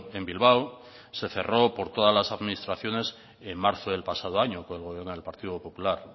en bilbao se cerró por todas las administraciones en marzo del pasado año por el gobierno del partido popular